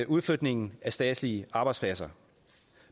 udflytningen af statslige arbejdspladser